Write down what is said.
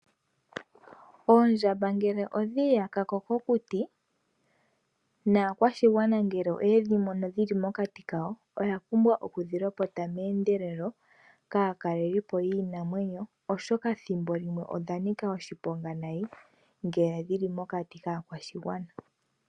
Oondjamba ngele odhiiya ka moshikunino naakwashigwana ngele oyedhi mono dhili mokati kayo. Oya pumbwa yedhi lopote meendelelo kaatalelipo yiinamwenyo oshoka odha nika oshiponga nayi ngele dhili mokati kaakwashigwana.